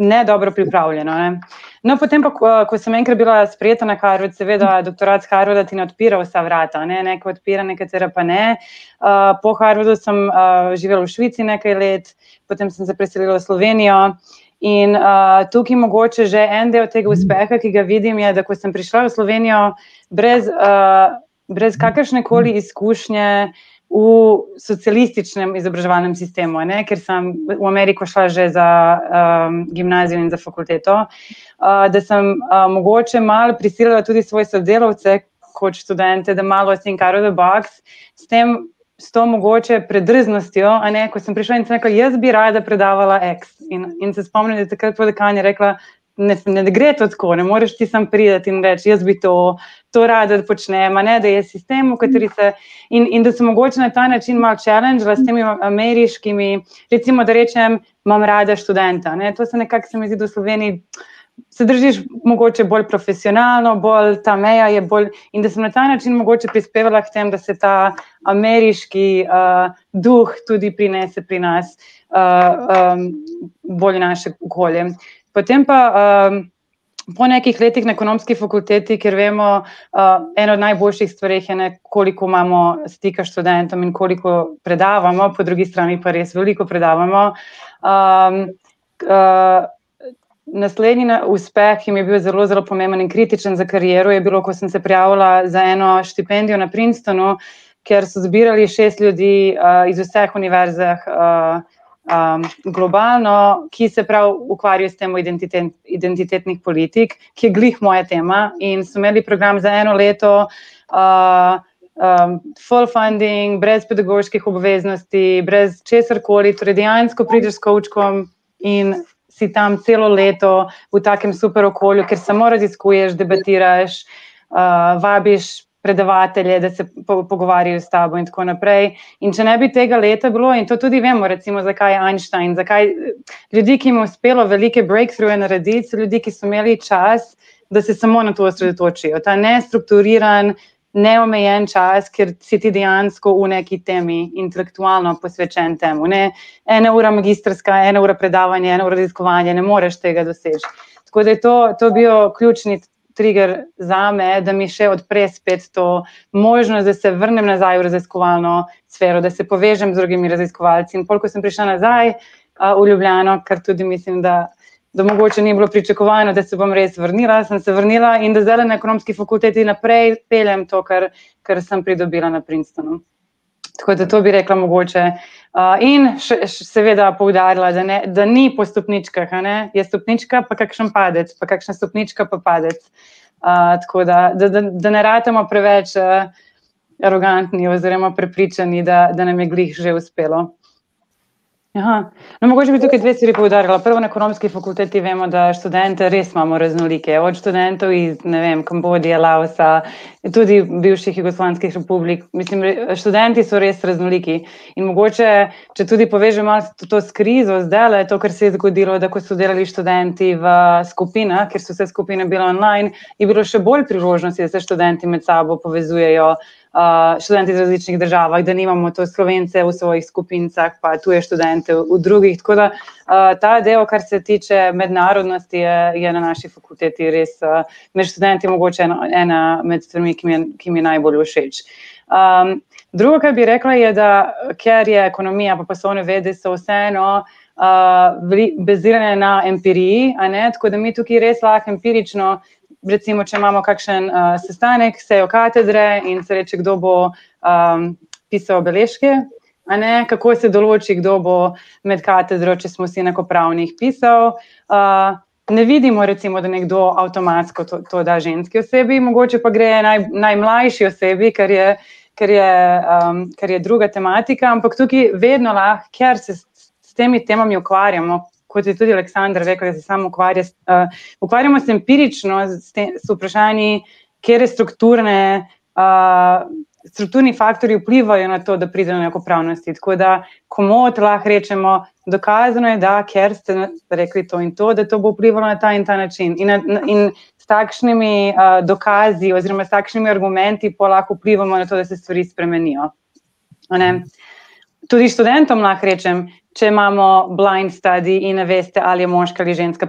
ne dobro pripravljeno, ne. No, potem pa, ko, ko sem enkrat bila sprejeta na Harvard, seveda, doktorat s Harvarda ti ne odpira vsa vrata, ne, neka odpira, nekatera pa ne, po Harvardu sem, živela v Švici nekaj let, potem sem se preselila v Slovenijo in, tukaj mogoče že en del tega uspeha, ki ga vidim, je, da ko sem prišla v Slovenijo brez, brez kakršnekoli izkušnje, v socialističnem izobraževalnem sistemu, ne, ker sem v Ameriko šla že za, gimnazijo in za fakulteto, da sem, mogoče malo prisilila tudi svoje sodelavce kot študente, da malo think out of the box, s tem, s to mogoče predrznostjo, a ne, ko sem prišla in sem rekla: "Jaz bi rada predavala ex." In, in se spomnim, da je takrat prav dekanja rekla: "Ne, ne gre to tako, ne moreš ti samo priti in reči: "Jaz bi to."" To rada počnem, a ne, da je sistem, v kateri se, in, in da se mogoče na ta način malo challenge ameriškimi, recimo, da rečem: "Imam rada študenta," a ne, to se nekako, se mi zdi, da v Sloveniji se držiš mogoče bolj profesionalno, bolj, ta meja je bolj ... In da sem na ta način mogoče prispevala k temu, da se ta ameriški, duh tudi prinese pri nas, bolj v naše okolje. Potem pa, po nekaj letih na Ekonomski fakulteti, ker vemo, ena od najboljših stvari, a ne, koliko imamo stika s študentom in koliko predavamo, po drugi strani pa res veliko predavamo. naslednji uspeh, ki mi je bil zelo, zelo pomemben in kritičen za kariero, je bilo, ko sem se prijavila za eno štipendijo na Princetonu, ker so zbirali šest ljudi, iz vseh univerzah, globalno, ki se pravi ukvarjajo s temo identitetnih politik, ki je glih moja tema, in so imeli program za eno leto full funding, brez pedagoških obveznosti, brez česarkoli, torej dejansko prideš s kovčkom, in si tam celo leto, v takem super okolju, kjer samo raziskuješ, debatiraš, vabiš predavatelje, da se pogovarjajo s tabo in tako naprej. In če ne bi tega leta bilo, in to tudi vemo, recimo, zakaj Einstein, zakaj, ljudi, ki mu je uspelo velike breakthroughe narediti, ljudi, ki so imeli čas, da se samo na to osredotočijo. Ta nestrukturiran, neomejen čas, kjer si ti dejansko v neki temi, intelektualno posvečen temu. Ne ena ura magistrska, ena ura predavanje, ena ura raziskovanje, ne moreš tega doseči. Tako da to, to je bil ključni trigger zame, da mi še odpre spet to možnost, da se vrnem nazaj v raziskovalno sfero, da se povežem z drugimi raziskovalci. In pol ko sem prišla nazaj, v Ljubljano, ker tudi mislim, da da mogoče ni bilo pričakovano, da se bom res vrnila, sem se vrnila, in da zdajle na Ekonomski fakulteti naprej peljem to, kar, kar sem pridobila na Princetonu. Tako da to bi rekla, mogoče. in še, seveda poudarila, da da ni po stopničkah, a ne, je stopnička pa kakšen padec pa kakšna stopnička pa padec. tako da, da ne ratamo preveč, arogantni oziroma prepričani, da, da nam je glih že uspelo. no, mogoče bi tukaj dve stvari poudarila, prvo, na Ekonomski fakulteti vemo, da študente res imamo raznolike, od študentov iz, ne vem Kambodže, Laosa, tudi bivših republik jugoslovanskih, mislim, študenti so res raznoliki. In mogoče, če tudi povežemo to s krizo zdajle, to, kar se je zgodilo, da ko so delali študenti v skupinah, kjer so vse skupine bile online, je bilo še bolj priložnosti, da se študenti med sabo povezujejo, študenti iz različnih državah, da nimamo tu Slovence v svojih skupinicah pa tuje študente v drugih, tako da ta ideja, kar se tiče mednarodnosti, je, je na naši fakulteti res, med študenti mogoče, no, ena med stvarmi, ki jim je, ki jim je najbolj všeč. druga, kar bi rekla je, da ker je ekonomija pa poslovne vede, so vseeno, bili bazirani na empiriji, a ne, tako da bi mi tukaj res lahko empirično, recimo če imamo kakšen, sestanek, sejo katedre, in se reče, kdo bo, pisal beležke. A ne, kako se določi, kdo bo med katedro, če smo vsi enakopravni, jih pisal, ne vidimo, recimo, da nekdo avtomatsko to, to da ženski osebi, mogoče pa to, da gre najmlajši osebi, kar je, kar je, kar je druga tematika, ampak tukaj vedno vabi, ker se s temi temami ukvarjamo. Kot je tudi Aleksandra rekla, da se samo ukvarja s, ... Ukvarjamo se empirično s z vprašanji, katere strukturne, strukturni faktorji vplivajo na to, da pride do enakopravnosti, tako da komot lahko rečemo, dokazano je, da ker se rekli to in to, da to bo vplivalo na ta in ta način. In na, in s takšnimi, dokazi oziroma s takšnimi argumenti pol lahko vplivamo na to, da se stvari spremenijo. A ne. Tudi študentom lahko rečem, če imamo blind study in ne veste, ali je moški ali ženska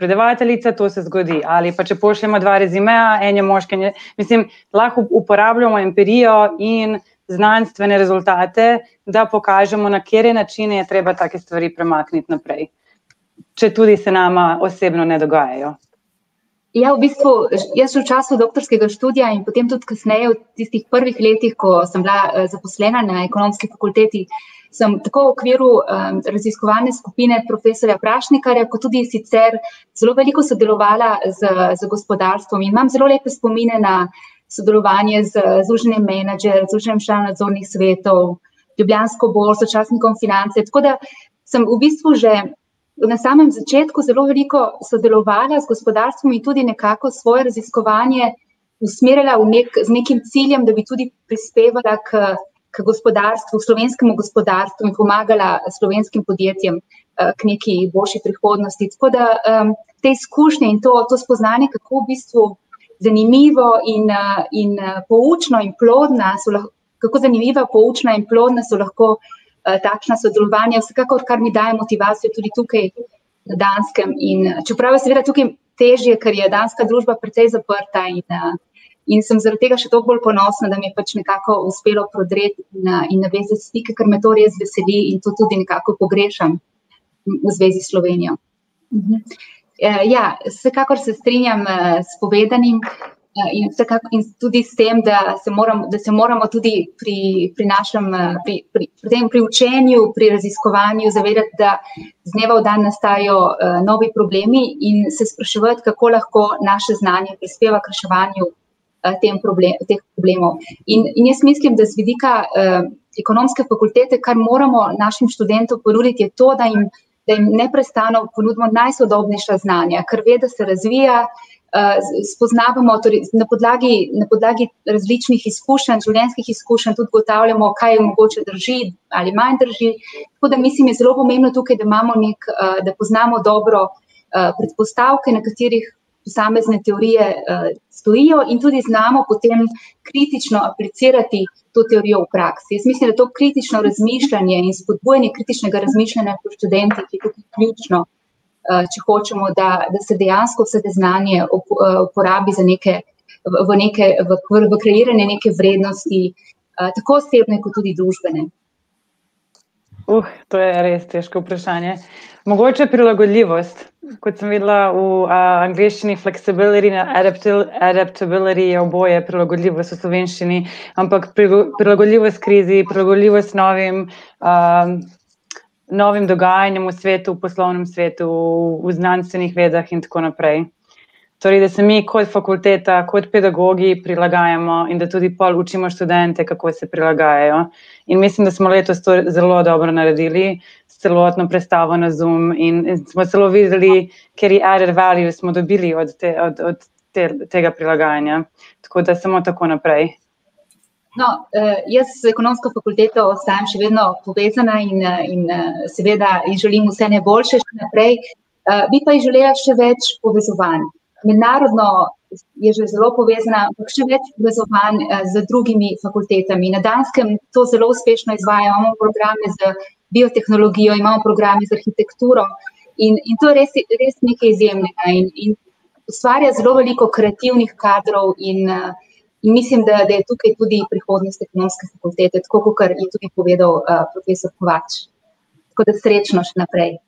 predavateljica, to se zgodi, ali pa če pošljemo dva rezimeja, en je moški, en je, mislim, lahko uporabljamo empirijo in znanstvene rezultate, da pokažemo, na kateri način je treba take stvari premakniti naprej. Če tudi se nama osebno ne dogajajo. Ja, v bistvu, jaz v času doktorskega študija in potem tudi kasneje v tistih prvih letih, ko, sem bila, zaposlena na Ekonomski fakulteti, samo tako v okviru, raziskovalne skupine profesorja Prašnikarja kot tudi sicer zelo veliko sodelovala z, z gospodarstvom in imam zelo lepe spomine na sodelovanje z, z Združenjem Manager, Združenjem članov nadzornih svetov, Ljubljansko borzo, časnikom Finance, tako da sem v bistvu že na samem začetku zelo veliko sodelovala z gospodarstvom in tudi nekako svoje raziskovanje usmerila v neki, z nekim ciljem, da bi tudi prispevala k, k gospodarstvu, slovenskemu gospodarstvu in pomagala slovenskim podjetjem, k nekaj boljši prihodnosti. Tako da, te izkušnje in to, to spoznanje, kako v bistvu zanimivo in, in, poučna in plodna so kako zanimiva, poučna in plodna so lahko, takšna sodelovanja s kakor, kar mi daje motivacijo tudi tukaj na Danskem in, ... Čeprav je seveda tukaj težje, ker je Danska družba precej zaprta in, ... In sem zaradi tega še toliko bolj ponosna, da mi je pač nekako uspelo prodreti in navezati stike, ker me to res veseli in to tudi nekako pogrešam v zvezi s Slovenijo. ja, vsekakor se strinjam, s povedanim in vsekakor, in se tudi s tem, da se moram, da se moramo tudi pri, pri našem, pri, pri potem pri učenju, pri raziskovanju zavedati, da z dneva v dan nastajajo, novi problemi, in se spraševati, kako lahko naše znanje prispeva k reševanju, tem teh problemov. In jaz mislim, da z vidika, Ekonomske fakultete, kar moramo našim študentom ponuditi, je to, da jim, da jim neprestano ponudimo najsodobnejša znanja, ker veda se razvija, spoznavamo torej, na podlagi, na podlagi različnih izkušenj, življenjskih izkušenj tudi ugotavljamo, kaj mogoče drži ali manj drži. Tako da mislim, je zelo pomembno tukaj, da imamo neki, da poznamo dobro, predpostavke, na katerih posamezne teorije, stojijo, in tudi znamo potem kritično aplicirati to teorijo v praksi. Jaz mislim, da to kritično razmišljanje in spodbujanje kritičnega razmišljanja med študenti, je tukaj ključno, če hočemo, da, da se dejansko vse te znanje uporabi za neke, v neke, v kreiranje neke vrednosti, tako osebne kot tudi družbene. to je res težko vprašanje. Mogoče prilagodljivost. Kot sem videla v, angleščini flexibility in adaptability je oboje prilagodljivost v slovenščini, ampak prilagodljivost krizi, prilagodljivost novim, novim dogajanjem v svetu, poslovnem svetu, v znanstvenih vedah in tako naprej. Torej, da se mi kot fakulteta, kot pedagogi prilagajamo in da tudi pol učimo študente, kako se prilagajajo. In mislim, da smo letos to zelo dobro naredili, s celotno prestavo na Zoom in smo celo videli, kateri other values smo dobili od te, od, od te, tega prilagajanja. Tako da samo tako naprej. No, jaz z Ekonomsko fakulteto ostajam še vedno povezana in, in, seveda ji želim vse najboljše še naprej, bi pa je želela še več povezovanj. Mednarodno je že zelo povezana, ampak še več povezovanj, z drugimi fakultetami. Na Danskem to zelo uspešno izvaja javne programe z biotehnologijo, ima v programih z arhitekturo, in, in to res je, je res nekaj izjemnega. In, in ustvarja zelo veliko kreativnih kadrov in, in mislim, da, da je tukaj tudi prihodnost Ekonomske fakultete, tako kakor je tudi povedal, profesor Kovač. Tako da srečno še naprej.